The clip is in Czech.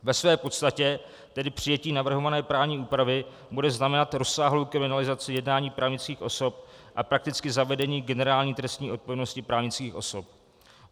Ve své podstatě tedy přijetí navrhované právní úpravy bude znamenat rozsáhlou kriminalizaci jednání právnických osob a prakticky zavedení generální trestní odpovědnosti právnických osob.